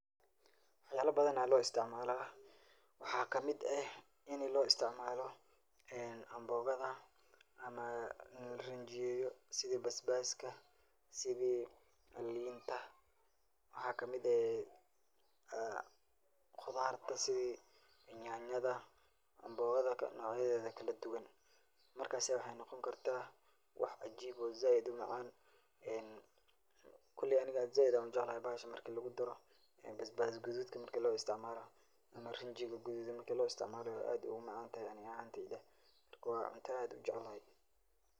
Wax yaaba badan ayaa loo isticmaala, waxaa kamid ah in loo isticmaalo amboogada ama rinjiyo sida basbaska, sidi liinta, waxaa kamid ah qudaarta, sidi nyanyada, amboogada noocyadeeda kala duban, markaasi waxeey noqon kartaa wax cajiib ah oo sait umacaan, koleey aniga sait ayaan ujeclahay bahasha marka lagu daro basbas gaduudka marki loo isticmaalo ama rinjiga gaduudan marki loo isticmaalo aad ayeey umacaan tahay ani ahaan, marka waa cunto aan aad ujeclahay.